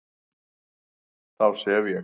Þá sef ég